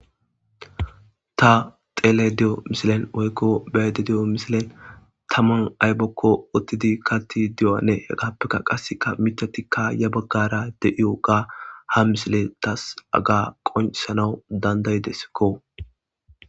Ta xelayidda dhe'iyo woyikko be'ayidda diyo misileliyan taman ayibakko woththidi kaththidi diyoganne hegappekka qassekka miththathikka ya bagara de'yogga ha misile tas qonc'ises.